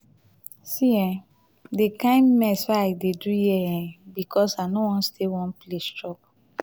see um the kin mess wey i dey do here um because i no wan stay one place chop.